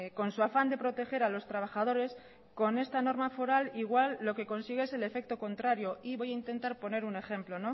con su afán de proteger a los trabajadorescon esta norma foral igual lo que consigue es el efecto contrario y voy a intentar poner un ejemplo